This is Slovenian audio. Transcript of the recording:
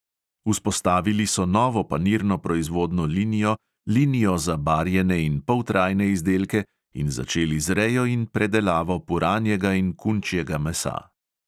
Vzpostavili so novo panirno proizvodno linijo, linijo za barjene in poltrajne izdelke in začeli z rejo in predelavo puranjega in kunčjega mesa.